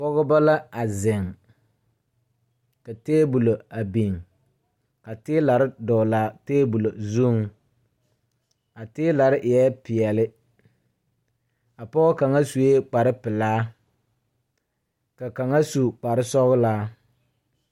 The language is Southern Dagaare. Pɔgebɔ la a zeŋ ka tabolɔ a biŋ ka tiilare dɔglaa tabolɔ zuŋ a tiilare eɛɛ peɛle a pɔɔ kaŋa suee kparepelaa ka kaŋa su kparesɔ.